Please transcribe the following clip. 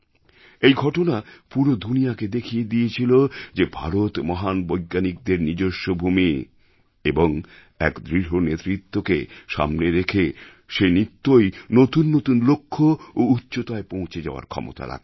এই ঘটনা পুরো দুনিয়াকে দেখিয়ে দিয়েছিল যে ভারত মহান বৈজ্ঞানিকদের নিজস্ব ভূমি এবং এক দৃঢ় নেতৃত্বকে সামনে রেখে সে নিত্যই নতুন নতুন লক্ষ্য এবং উচ্চতায় পৌঁছে যাওয়ার ক্ষমতা রাখে